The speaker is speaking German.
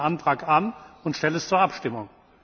Ich nehme Ihren Antrag an und stelle es zur Abstimmung.